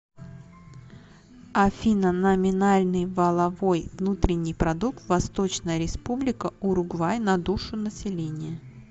афина номинальный валовой внутренний продукт восточная республика уругвай на душу населения